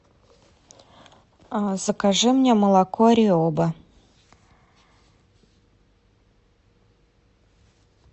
закажи мне молоко риоба